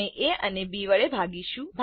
આપણે એ ને બી વડે ભાગીશું